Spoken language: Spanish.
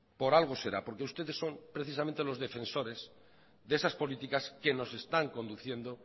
por algo será porque ustedes son precisamente los defensores de esas políticas que nos están conduciendo